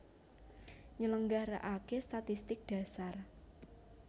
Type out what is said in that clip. Nyelenggarakaké statistik dhasar